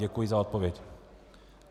Děkuji za odpověď.